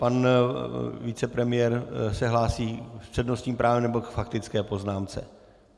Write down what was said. Pan vicepremiér se hlásí s přednostním právem, nebo k faktické poznámce?